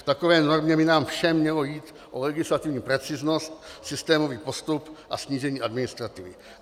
V takové normě by nám všem mělo jít o legislativní preciznost, systémový postup a snížení administrativy.